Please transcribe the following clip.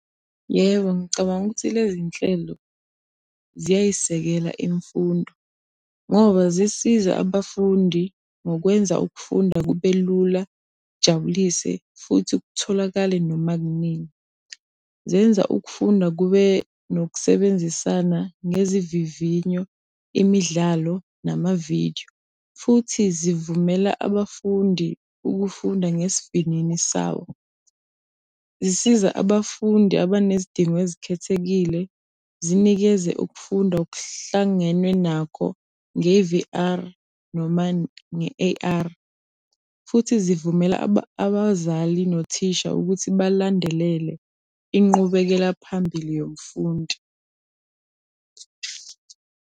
Yebo, ngicabanga ukuthi le zinhlelo ziyayisekela imfundo ngoba zisiza abafundi ngokwenza ukufunda kube lula, kujabulise futhi kutholakale noma kunini. Zenza ukufunda kube nokusebenzisana ngezivivinyo, imidlalo, nama-video, futhi zivumela abafundi ukufunda ngesivinini sawo. Zisiza abafundi abanezidingo ezikhethekile, zinikeze ukufunda okuhlangenwe nakho nge-V_R noma nge-A_R, futhi zivumela abazali nothisha ukuthi balandelele inqubekela phambili yomfundi.